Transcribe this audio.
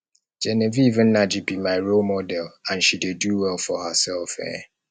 genevieve nnaji be my role model and she dey do well for herself um